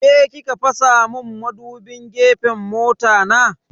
Ke ki ka fasa mun madubin gefen mota na?